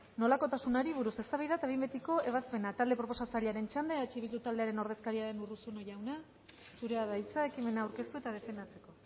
nolakotasunari buruz eztabaida eta behin betiko ebazpena talde proposatzailearen txanda eh bildu taldearen ordezkaria den urruzuno jauna zurea da hitza ekimena aurkeztu eta defendatzeko